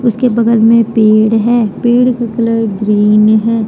उसके बगल में पेड़ है पेड़ का कलर ग्रीन है।